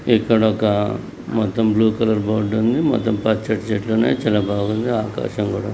ఇక్కడ ఒక మొత్తం బ్లూ కలర్ బోర్డు ఉంది మొత్తం పచ్చని చెట్లు ఉన్నాయి చాలా బాగుంది ఆకాశం కూడా --